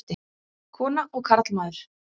Kona og karlmaður.